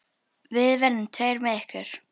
Við verðum tveir með ykkur.